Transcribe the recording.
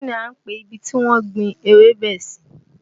Kín ni à ń pe ibi tí wọ́n ń gbin ewébẹ̀ sì?